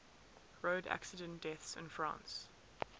road accident deaths in france